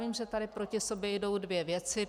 Vím, že tady proti sobě jdou dvě věci.